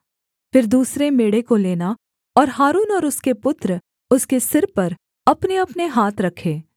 फिर दूसरे मेढ़े को लेना और हारून और उसके पुत्र उसके सिर पर अपनेअपने हाथ रखें